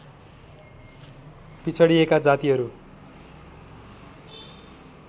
पिछडिएका जातिहरू